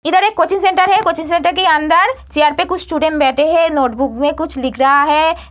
इधर एक coaching centre है कोचिंग सेंटर के अंदर चेयर पे कुछ स्टूडेंट बैठे हैं नोटबुक में कुछ लिख रहा है।